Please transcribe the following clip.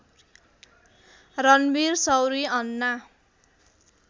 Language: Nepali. रणवीर शौरी अन्ना